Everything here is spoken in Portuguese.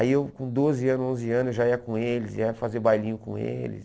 Aí eu com doze anos, onze anos, já ia com eles, ia fazer bailinho com eles.